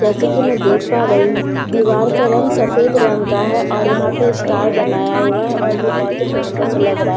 जैसे कि में देख पा रही हूँ दिवार का रंग सफेद रंग का है और यहाँ पर स्टार बनाया हुआ है और वो बहुत ही खुबसूरत सा लग रहा है जैसे कि --